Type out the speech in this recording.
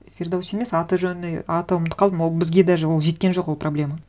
фирдоуси емес аты жөні ұмытып қалдым ол бізге даже ол жеткен жоқ ол проблема